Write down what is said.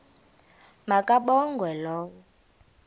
ma kabongwe low